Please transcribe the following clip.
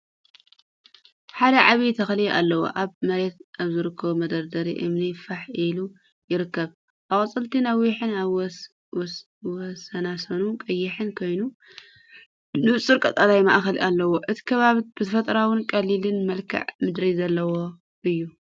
ሓደ ዓቢ ተኽሊ ኣሎው ኣብ መሬት ኣብ ዝርከብ መደርደሪ እምኒ ፋሕ ኢሉ ይርከብ። ኣቝጽልቱ ነዊሕን ኣብ ወሰናስኑ ቀይሕን ኮይኑ፡ ንጹር ቀጠልያ ማእከል ኣለዎ። እቲ ከባቢ ብተፈጥሮኣውን ቀሊልን መልክዓ ምድሪ ዘለዎ እዩ።